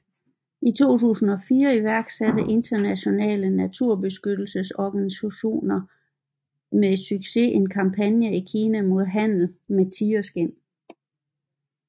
I 2004 iværksatte internationale naturbeskyttelsesorganisationer med succes en kampagne i Kina mod handel med tigerskind